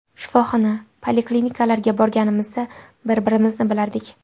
Shifoxona, poliklinikalarga borganimizdan bir-birimizni bilardik.